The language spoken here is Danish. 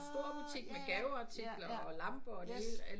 En stor butik med gaveartikler og lamper og det hele